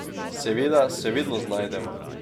Seveda se vedno znajdeva.